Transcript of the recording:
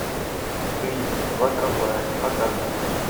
фильм два трамвая показывай